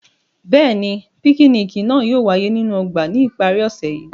Bẹ́ẹ̀ni, pikiniki naa yóò waye ninu ọgba ni ipari ose yii.